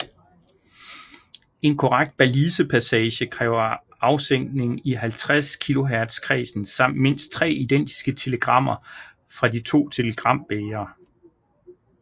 En korrekt Balisepassage kræver afsænkning i 50 kHz kredsen samt mindst 3 identiske telegrammer fra de to telegrambægre